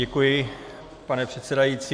Děkuji, pane předsedající.